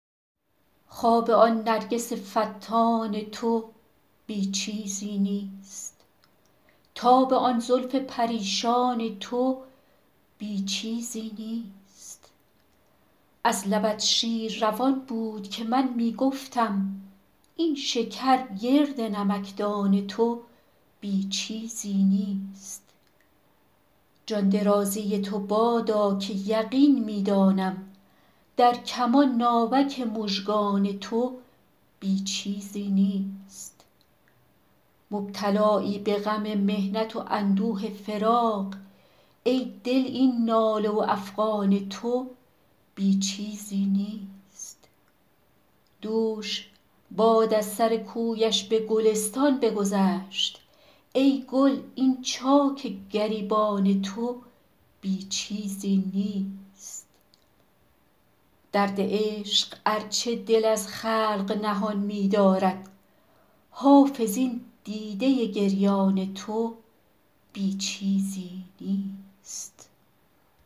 خواب آن نرگس فتان تو بی چیزی نیست تاب آن زلف پریشان تو بی چیزی نیست از لبت شیر روان بود که من می گفتم این شکر گرد نمکدان تو بی چیزی نیست جان درازی تو بادا که یقین می دانم در کمان ناوک مژگان تو بی چیزی نیست مبتلایی به غم محنت و اندوه فراق ای دل این ناله و افغان تو بی چیزی نیست دوش باد از سر کویش به گلستان بگذشت ای گل این چاک گریبان تو بی چیزی نیست درد عشق ار چه دل از خلق نهان می دارد حافظ این دیده گریان تو بی چیزی نیست